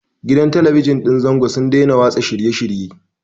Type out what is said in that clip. Gidan Talabijin ɗin zango sun daina watsa shirye-shirye.